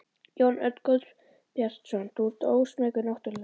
Jón Örn Guðbjartsson: Þú ert ósmeykur náttúrlega?